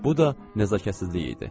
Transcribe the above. Bu da nəzakətsizlik idi.